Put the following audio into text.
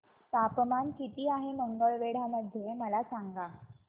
तापमान किती आहे मंगळवेढा मध्ये मला सांगा